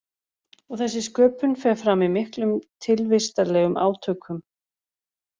Og þessi sköpun fer fram í miklum tilvistarlegum átökum.